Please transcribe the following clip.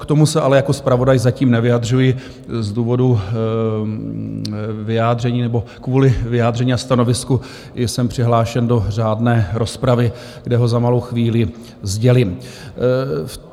K tomu se ale jako zpravodaj zatím nevyjadřuji z důvodu vyjádření nebo kvůli vyjádření a stanovisku, jsem přihlášen do řádné rozpravy, kde ho za malou chvíli sdělím.